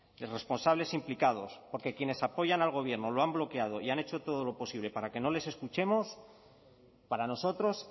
y responsables implicados porque quienes apoyan al gobierno lo han bloqueado y han hecho todo lo posible para que no les escuchemos para nosotros